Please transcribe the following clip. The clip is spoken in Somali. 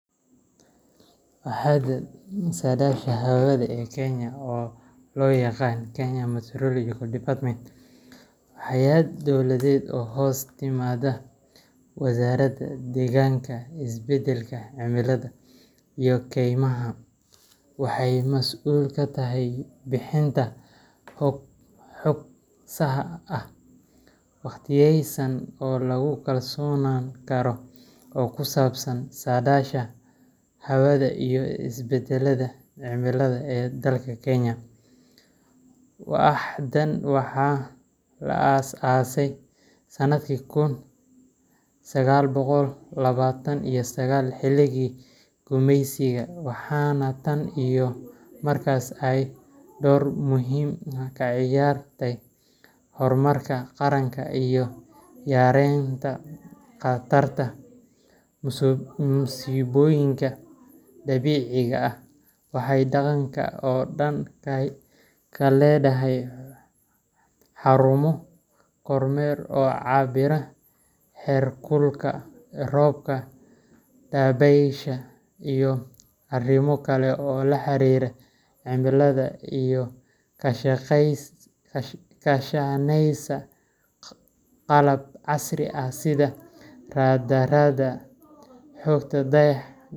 Waaxda Saadaasha Hawada ee Kenya, oo loo yaqaan Kenya Meteorological Department , waa hay’ad dowladeed oo hoos timaadda Wasaaradda Deegaanka, Isbeddelka Cimilada, iyo Kaymaha. Waxay mas’uul ka tahay bixinta xog saxa ah, waqtiyeysan, oo lagu kalsoonaan karo oo ku saabsan saadaasha hawada iyo isbeddellada cimilada ee dalka Kenya. Waaxdan waxaa la aasaasay sanadkii kun sagal boqol labatan iyo sagal xilligii gumeysiga, waxaana tan iyo markaas ay door muhiim ah ka ciyaartay horumarka qaranka iyo yareynta khatarta musiibooyinka dabiiciga ah. waxay waddanka oo dhan ka leedahay xarumo kormeer oo cabbira heerkulka, roobka, dabaysha, iyo arrimo kale oo la xiriira cimilada, iyadoo kaashaneysa qalab casri ah sida raadaarada, xogta dayax.